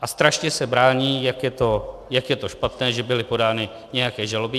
A strašně se brání, jak je to špatné, že byly podány nějaké žaloby.